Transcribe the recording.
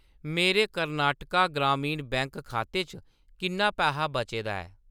मेरे कर्नाटक ग्रामीण बैंक खाते च किन्ना पैहा बचे दा ऐ ?